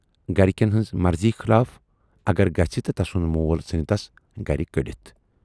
گرِکٮ۪ن ہٕنزِ مرضی خلاف اگر گژھِ تہٕ تسُند مول ژھُنہٕ تَس گرِ کٔڈِتھ۔